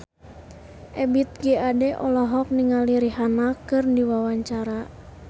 Ebith G. Ade olohok ningali Rihanna keur diwawancara